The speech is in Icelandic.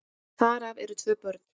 Þar af eru tvö börn.